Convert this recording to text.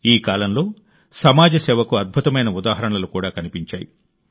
ఈ కాలంలో సమాజ సేవకు అద్భుతమైన ఉదాహరణలు కూడా కనిపించాయి